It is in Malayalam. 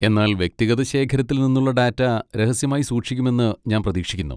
എന്നാൽ വ്യക്തിഗത ശേഖരത്തിൽ നിന്നുള്ള ഡാറ്റ രഹസ്യമായി സൂക്ഷിക്കുമെന്ന് ഞാൻ പ്രതീക്ഷിക്കുന്നു?